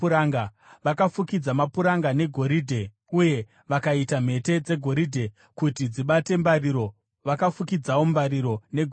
Vakafukidza mapuranga negoridhe uye vakaita mhete dzegoridhe kuti dzibate mbariro. Vakafukidzawo mbariro negoridhe.